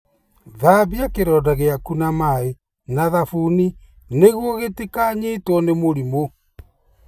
Thambia kĩronda gĩaku na maĩ na thabuni nĩguo kĩtikanyitwo nĩ mĩrimũ.